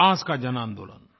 विकास का जनआन्दोलन